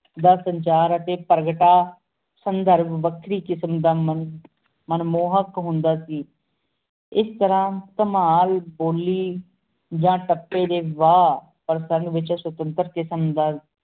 ਦਾ ਸੁਨ੍ਚਾਰ ਟੀ ਪਰ੍ਨ੍ਘ ਤਾ ਅੰਦਰ ਵਖਰੀ ਕਿਸਮ ਦਾ ਮੰਜ਼ਰ ਮਨ ਮੁਹਕ ਹੁੰਦਾ ਸੀ ਇਸ ਤੇਰ੍ਹਾਂ ਕਮਾਲ ਬੋਲੀ ਜਾ ਤਪੀ ਡੀ ਵਾ ਪਰ ਸੁਨਘ ਵਿਛੁੰ ਕਿਸਮ ਦਾ